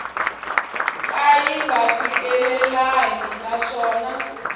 ka yi nga fikelelangi naswona